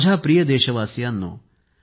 माझ्या प्रिय देशवासियांनो